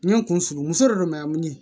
N ye n kun furu muso de don